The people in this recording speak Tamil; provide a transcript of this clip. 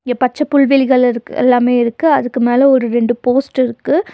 இங்க பச்ச புல்வெளிகளிருக் எல்லாமே இருக்கு அதுக்கு மேல ஒரு ரெண்டு போஸ்ட் இருக்கு.